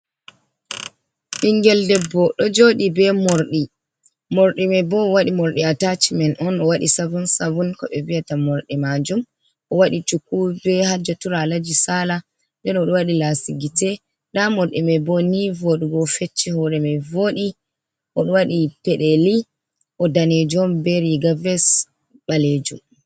Ɓinngel debbo ɗo jooɗi bee moorɗi, moorɗi may bo o waɗi moorɗi "ataacimen" on, o waɗi "savun -savun" ko ɓe vi’ata moorɗi maajum. O waɗi cuku bee hajja tura alaji saala, nden o ɗo waɗi laasi gite, ndaa moorɗi may bo nii vooɗugo, O fecci hoore may vooɗi, o ɗo wadi peɗeeli o daneejo on bee "riiga ves" ɓaleejum.